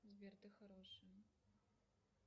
сбер ты хороший